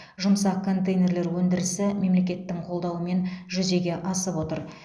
жұмсақ контейнерлер өндірісі мемлекеттің қолдауымен жүзеге асып отыр